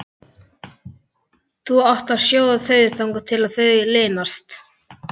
Þú átt að sjóða þau þangað til þau linast.